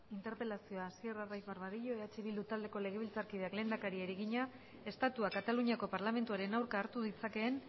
interpelazioa hasier arraiz barbadillo eh bildu taldeko legebiltzarkideak lehendakariari egina estatuak kataluniako parlamentuaren aurka hartu ditzakeen